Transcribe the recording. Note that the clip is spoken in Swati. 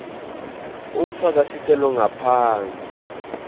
ufaka sicelo ngaphansi